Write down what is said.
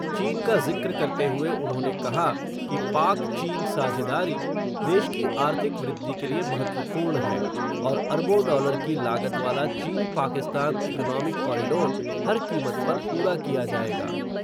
चीन का ज़िक्र करते हुए उन्होंने कहा, कि पाक-चीन साझेदारी, देश की आर्थिक वृद्धि के लिए महत्वपूर्ण है, और अरबों डॉलर की लागत वाला चीन-पाकिस्तान इकोनॉमिक कॉरिडोर, हर कीमत पर पूरा किया जाएगा.